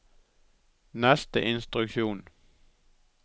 neste instruksjon